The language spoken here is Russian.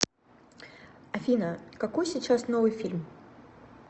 афина какой сейчас новый фильм